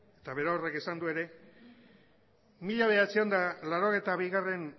eta berorrek esan du ere mila bederatziehun eta laurogeita bigarrena